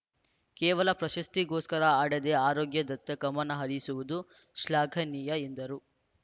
ಕೇವಲ ಪ್ರಶಸ್ತಿಗೋಸ್ಕರ ಆಡದೇ ಆರೋಗ್ಯದತ್ತ ಗಮನಹರಿಸಿರುವುದು ಶ್ಲಾಘನೀಯ ಎಂದರು